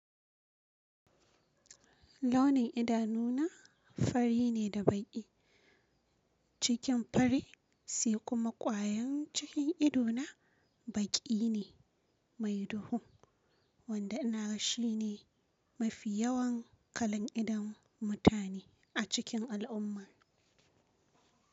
Launin idanuna fari ne da baƙi. Cikin fari sai kuma ƙwayoyin cikin ido na baƙi ne mai duhu wanda ina ga shi ne mafi yawan kalan idon mutane a cikin al’umma.